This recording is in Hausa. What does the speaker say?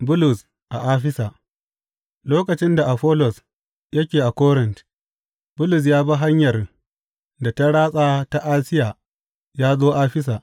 Bulus a Afisa Lokacin da Afollos yake a Korint, Bulus ya bi hanyar da ta ratsa ta Asiya ya zo Afisa.